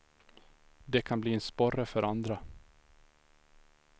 Det kan bli en sporre för andra.